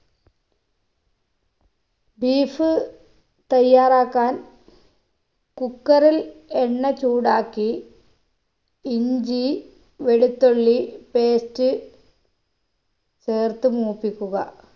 beef തയ്യാറാക്കാൻ cooker ഇൽ എണ്ണ ചൂടാക്കി ഇഞ്ചി വെളുത്തുള്ളി paste ചേർത്ത് മൂപ്പിക്കുക